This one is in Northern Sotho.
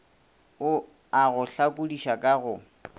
a go hlakodiša ka go